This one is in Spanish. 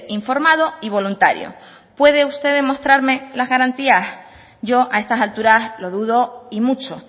informado y voluntario puede usted demostrarme las garantías yo a estas alturas lo dudo y mucho